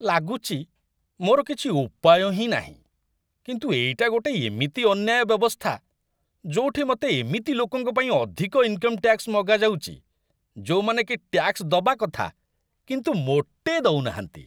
ଲାଗୁଚି, ମୋର କିଛି ଉପାୟ ହିଁ ନାହିଁ, କିନ୍ତୁ ଏଇଟା ଗୋଟେ ଏମିତି ଅନ୍ୟାୟ ବ୍ୟବସ୍ଥା ଯୋଉଠି ମତେ ଏମିତି ଲୋକଙ୍କ ପାଇଁ ଅଧିକ ଇନ୍‌କମ ଟ୍ୟାକ୍ସ ମଗାଯାଉଚି, ଯୋଉମାନେକି ଟ୍ୟାକ୍ସ ଦବା କଥା, କିନ୍ତୁ ମୋଟେ ଦଉନାହାନ୍ତି ।